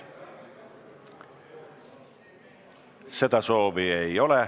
Seda soovi ei ole.